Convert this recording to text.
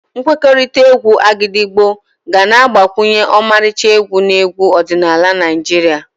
Nkwekọrịta égwù Agidigbo ga na-agbakwunye ọmarịcha egwu na egwu ọdịnala Naijiria.